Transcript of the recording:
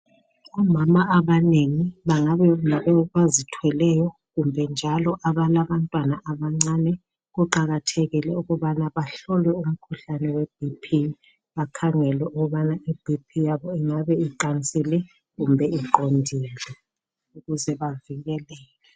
Omama abanengi bengaba ngabazithweleyo kumbe njalo abalabantwana abancane kuqakathekile ukubana bahlolwe umkhuhlane weBP. Bakhangelwe ukubana iBP yabo ingabe iqansile kumbe iqondile ukuze bavikeleke.